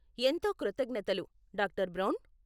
ఎంతో కృతజ్ఞతలు, doctor brown.